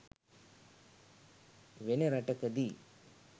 වෙන රටකදී